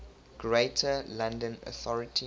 greater london authority